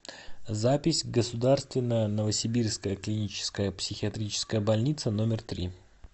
запись государственная новосибирская клиническая психиатрическая больница номер три